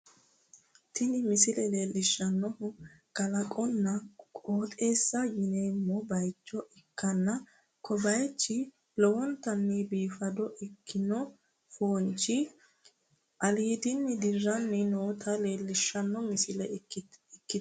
Tini misile leellishshannohu kalaqonna qooxeessa yineemmo bayicho ikkanna, ko bayichi lowontanni biifado ikkino foonchi aliidinni dirranni noota leellishshanno misile ikkitanno.